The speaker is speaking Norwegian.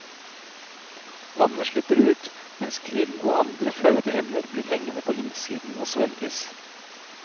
Vannet slipper ut, mens krill og andre fødeemner blir hengende på innsiden og svelges.